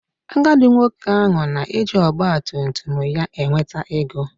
Agadi nwoke ahụ na-eji ọgbatumtum ya enweta ego